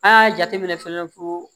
A jateminɛ fana ko